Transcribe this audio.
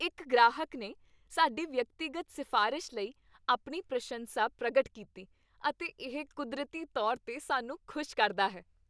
ਇੱਕ ਗ੍ਰਾਹਕ ਨੇ ਸਾਡੀ ਵਿਅਕਤੀਗਤ ਸਿਫ਼ਾਰਿਸ਼ ਲਈ ਆਪਣੀ ਪ੍ਰਸ਼ੰਸਾ ਪ੍ਰਗਟ ਕੀਤੀ ਅਤੇ ਇਹ ਕੁਦਰਤੀ ਤੌਰ 'ਤੇ ਸਾਨੂੰ ਖੁਸ਼ ਕਰਦਾ ਹੈ।